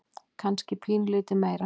Kannski pínulítið meira.